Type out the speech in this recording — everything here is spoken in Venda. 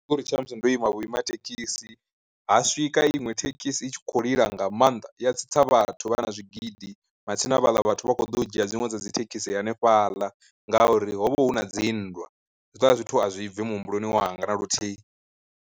Ri tsha musi ndo ima vhuima thekhisi, ha swika iṅwe thekhisi i tshi kho lila nga maanḓa ya tsitsa vhathu vha na zwigidi matsina havhala vhathu vha kho ḓo u dzhia dziṅwe dza dzi thekhisi hanefhaḽa ngauri ho vha hu na dzinndwa, Hezwiḽa zwithu a zwi bvi muhumbuloni wanga na luthihi.